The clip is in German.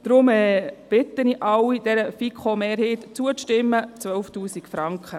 Deshalb bitte ich alle, dieser FiKo-Mehrheit zuzustimmen: 12’000 Franken.